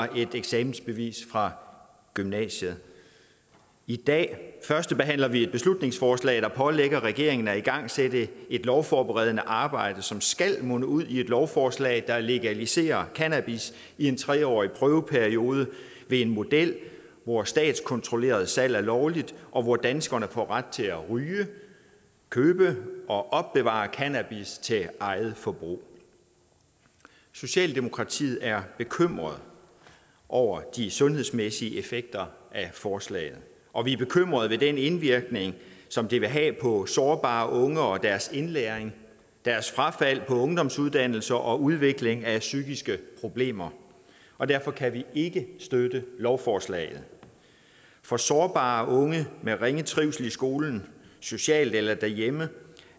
er et eksamensbevis fra gymnasiet i dag førstebehandler vi et beslutningsforslag der pålægger regeringen at igangsætte et lovforberedende arbejde som skal munde ud i et lovforslag der legaliserer cannabis i en tre årig prøveperiode ved en model hvor statskontrolleret salg er lovligt og hvor danskerne får ret til at ryge købe og opbevare cannabis til eget forbrug socialdemokratiet er bekymret over de sundhedsmæssige effekter af forslaget og vi er bekymret over den indvirkning som det vil have på sårbare unge og deres indlæring deres frafald på ungdomsuddannelser og udvikling af psykiske problemer og derfor kan vi ikke støtte lovforslaget for sårbare unge med ringe trivsel i skolen socialt eller derhjemme